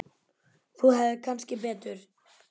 Þú hefðir kannski betur.